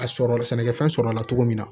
A sɔrɔ sɛnɛkɛfɛn sɔrɔla la cogo min na